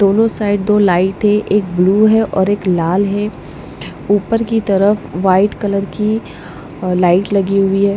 दोनों साइड दो लाइट है एक ब्लू है और एक लाल है ऊपर की तरफ वाइट कलर की लाइट लगी हुई है।